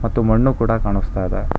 ಮತ್ತು ಮಣ್ಣು ಕೂಡ ಕಾಣಿಸ್ತಾ ಇದೆ.